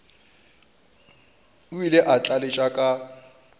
o ile a tlaleletša ka